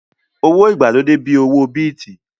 Owó ìgbàlódé bíi owó Bíìtì